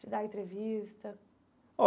De dar entrevista.